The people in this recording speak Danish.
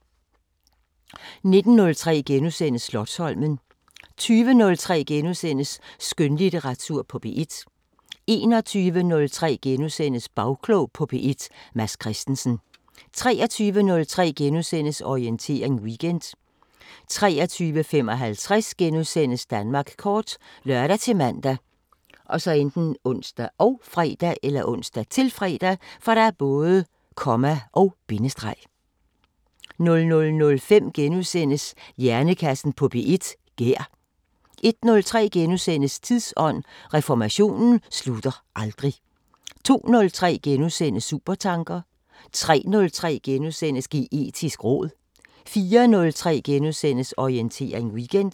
19:03: Slotsholmen * 20:03: Skønlitteratur på P1 * 21:03: Bagklog på P1: Mads Christensen * 23:03: Orientering Weekend * 23:55: Danmark kort *( lør-man, ons, -fre) 00:05: Hjernekassen på P1: Gær * 01:03: Tidsånd: Reformationen slutter aldrig * 02:03: Supertanker * 03:03: Geetisk råd * 04:03: Orientering Weekend *